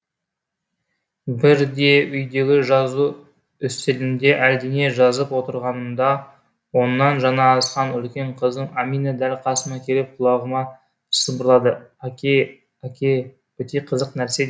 бірде үйдегі жазу үстелінде әлдене жазып отырғанымда оннан жаңа асқан үлкен қызым әмина дәл қасыма келіп құлағыма сыбырлады әке әке өте қызық нәрсе